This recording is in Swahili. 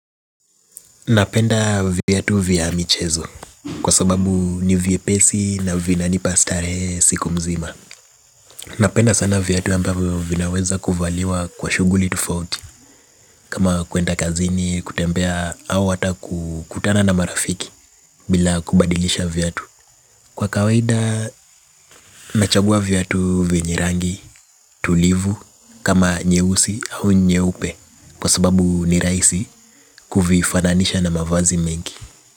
Napenda viatu vya michezo kwa sababu ni vyepesi na vina nipa starehe siku mzima. Napenda sana viatu ambavyo vinaweza kuvaliwa kwa shughuli tofauti kama kwenda kazini kutembea au ata kukutana na marafiki bila kubadilisha viatu. Kwa kawaida, nachagua viatu vyenye rangi tulivu kama nyeusi au nyeupe kwa sababu nirahisi kuvifananisha na mavazi mengi.